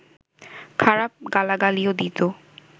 খারাপ গালাগালিও দিত